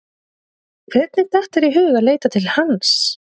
Hvernig datt þér í hug að leita til hans?